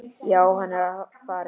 Já, hann er farinn